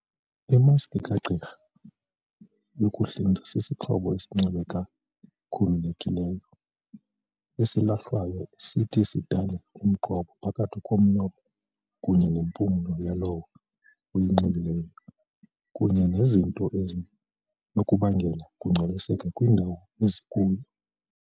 Imaski kagqirha yokuhlinza sisixhobo esinxibeka khululekileyo, esilahlwayo esithi sidale umqobo phakathi komlomo kunye nempumlo yalowo uyinxibayo kunye nezinto ezinokubangela ukungcoliseka kwindawo ezikuyo.